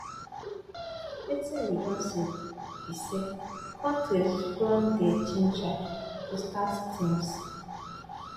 wetin we don see be say kontris don dey gingered to start teams